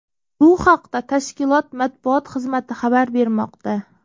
Bu haqda tashkilot matbuot xizmati xabar bermoqda .